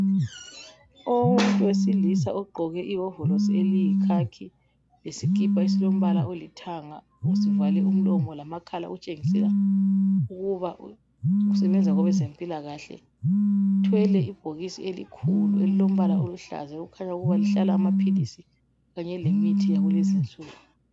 Umuntu owesilisa ogqoke iwovorosi eliyikhakhi, isikipa esilombala olithanga uzivale umlomo lamakhala okutshengisela ukuba usebenza kwabezempilakahle. Uthwele ibhokisi elikhulu elilombala oluhlaza okukhanya ukuba lihlala amaphilisi kanye lemithi yakulezi insuku.